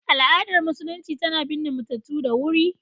Al’adar Musulunci tana binne matattu da wuri.